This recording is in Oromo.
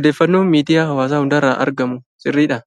odeeffannoon miidiyaa hawaasaa hundarraa argamuu sirriidhaa?